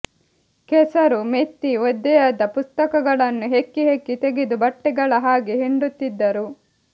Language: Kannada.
ಕೆಸರು ಮೆತ್ತಿ ಒದ್ದೆಯಾದ ಪುಸ್ತಕಗಳನ್ನು ಹೆಕ್ಕಿ ಹೆಕ್ಕಿ ತೆಗೆದು ಬಟ್ಟೆಗಳ ಹಾಗೆ ಹಿಂಡುತ್ತಿದ್ದರು